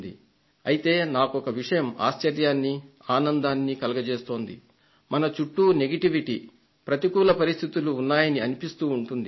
అయితే నాకొక విషయం ఆశ్చర్యాన్ని ఆనందాన్ని కలగజేస్తోంది మన చుట్టూ వ్యతిరేకత ప్రతికూల పరిస్థితులు ఉన్నాయని అనిపిస్తూ ఉంటుంది